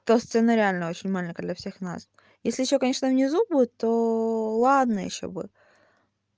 то сцена реально очень маленькая для всех нас если ещё конечно внизу будет то ладно ещё бы